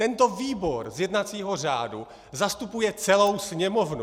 Tento výbor z jednacího řádu zastupuje celou Sněmovnu!